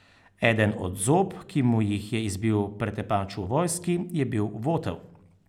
Eden od zob, ki mu jih je izbil pretepač v vojski, je bil votel.